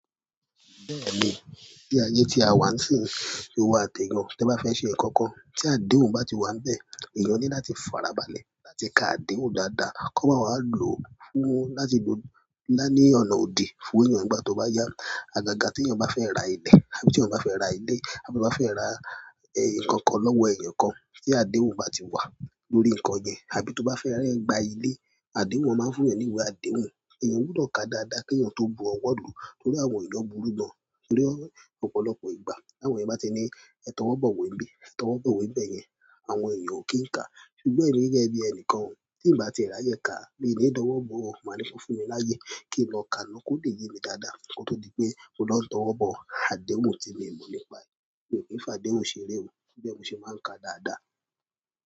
Bẹ́ẹ̀ni ti ayé tí a wà sì, ṣe wà tẹ́gàn. Tí ẹ bá fẹ́ ṣe nǹkan kan, tí àdéhùn bá ti wà níbẹ̀, èèyàn ní láti farabalẹ̀ láti ka àdéhùn dáadáa. Kí ọmọ aláìlóbí fún láti lo láìní ọ̀nà òdì fún èèyàn nígbà tó bá yá a. Àgàgà tí èèyàn bá fẹ́ ra ilẹ̀, àbí tí èèyàn bá fẹ́ ra ilé, àbí tí ọmọ bá fẹ́ ra nǹkan kan lọ́wọ́ èèyàn kan, tí àdéhùn bá ti wà lórí nǹkan yẹn, àbí tó bá fẹ́ rẹ́ gba ilé, àdéhùn wọn máa ń fún èèyàn ní ìwé àdéhùn. Èèyàn gbúdọ̀ kàá dáadáa kí èèyàn tó bu ọwọ́ lùú, torí àwọn èèyàn burú gan-an torí ọ̀pọ̀lọpọ̀ ìgbà. Bí àwọn ọmọ bá ti ní, "Ẹ tọwọ́ bọ̀ òwe bí, ẹ tọwọ́ bọ̀ òwe bẹ́ẹ̀ yẹn." Àwọn èèyàn ò kí ń kàá. Ṣùgbọ́n èmi gẹ́gẹ́ bí ẹni kan, tí ì bá ti rà yẹn kà, mi ò ní dọwọ́ bọ̀. Mo máa ní fún mi láyé kí n lọ ka ná kó lè yé mi dáadáa. Kó tó di pé mo lọ ń tọwọ́ bọ̀ àdéhùn tí mo mọ̀ nípa èyí. Èmi ò kí ń fà àdéhùn ṣeré o, torí ẹ̀ mo ṣe máa ń kà á dáadáa.